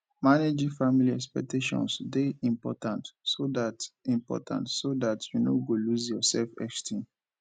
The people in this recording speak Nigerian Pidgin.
managing family expectations de important so that important so that you no go loose yor self esteem